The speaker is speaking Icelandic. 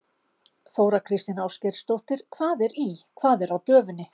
Þóra Kristín Ásgeirsdóttir: Hvað er í, hvað er á döfinni?